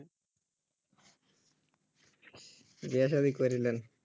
বিয়া সাধি কইরে নেন